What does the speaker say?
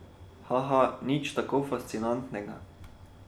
Haha, nič tako fascinantnega.